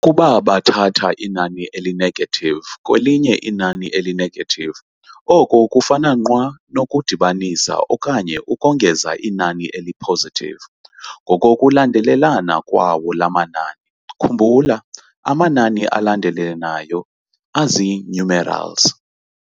Ukuba bathatha inani eli-negative kwelinye inani eli-negative, oko kufana nqwa nokudibanisa okanye ukongeza inani eli-positive ngokokulandelelana kwawo laa manani. Khumbula, amanani alandelelanayo azii-numerals.